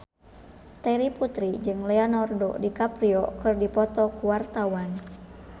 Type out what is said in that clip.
Terry Putri jeung Leonardo DiCaprio keur dipoto ku wartawan